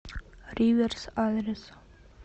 риверс адрес